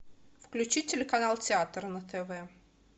включи телеканал театр на тв